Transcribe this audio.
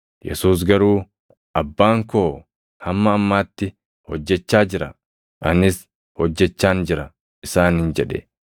Yesuus garuu, “Abbaan koo hamma ammaatti hojjechaa jira; anis hojjechaan jira” isaaniin jedhe.